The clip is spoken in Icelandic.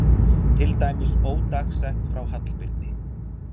Til dæmis ódagsett frá Hallbirni